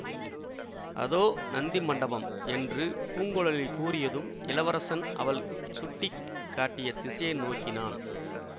அதோ நந்தி மண்டபம் என்று பூங்குழலி கூறியதும் இளவரசன் அவள் சுட்டி காட்டிய திசையை நோக்கினான்